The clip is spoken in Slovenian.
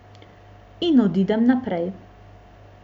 In odidem naprej.